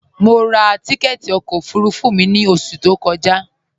Mọ rá tìkẹtì ọkọ ofurufu mi ni oṣù tó kọja.